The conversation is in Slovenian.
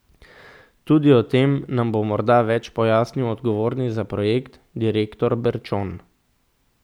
Tudi o tem nam bo morda več pojasnil odgovorni za projekt, direktor Berčon.